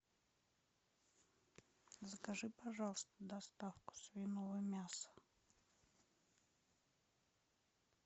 закажи пожалуйста доставку свиного мяса